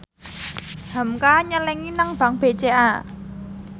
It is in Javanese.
hamka nyelengi nang bank BCA